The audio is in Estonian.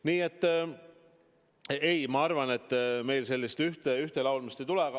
Nii et ma arvan, et meil sellist ühtelaulmist ei tule.